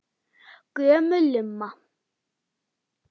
Gömul lumma.